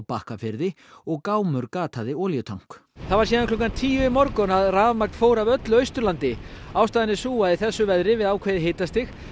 Bakkafirði og gámur olíutank það var síðan klukkan tíu í morgun að rafmagn fór af öllu Austurlandi ástæðan er sú að í þessu veðri við ákveðið hitastig